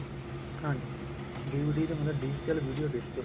ਹਾਂਜੀ DVD ਦਾ ਮਤਲਬ digital video disk